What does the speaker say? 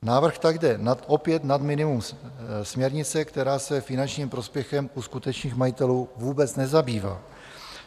Návrh tak jde opět nad minimum směrnice, která se finančním prospěchem u skutečných majitelů vůbec nezabývá.